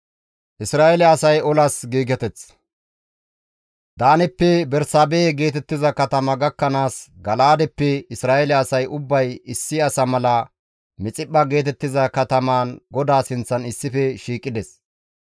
Daaneppe Bersaabehe geetettiza katama gakkanaas Gala7aadeppe Isra7eele asay ubbay issi asa mala Mixiphpha geetettiza katamaan GODAA sinththan issife shiiqides.